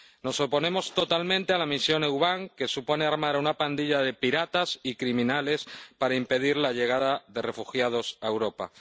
Nos oponemos totalmente a la misión EUBAM, que supone armar a una pandilla de piratas y criminales para impedir la llegada de refugiados a Europa.